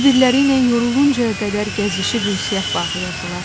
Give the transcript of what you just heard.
Bir-birləri ilə yoruluncaya qədər gəzişib ünsiyyət bağlayardılar.